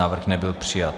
Návrh nebyl přijat.